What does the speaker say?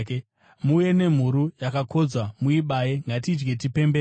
Muuye nemhuru yakakodzwa muibaye. Ngatidyei tipembere.